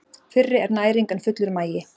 Fyrri er næring en fullur magi.